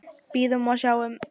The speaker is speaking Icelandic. Bíðum og sjáum.